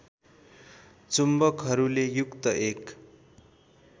चुम्बकहरूले युक्त एक